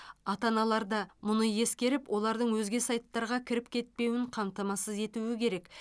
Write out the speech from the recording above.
ата аналар да мұны ескеріп олардың өзге сайттарға кіріп кетпеуін қамтамасыз етуі керек